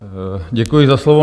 Děkuji za slovo.